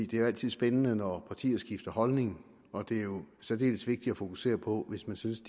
det er altid spændende når partier skifter holdning og det er særdeles vigtigt at fokusere på hvis man synes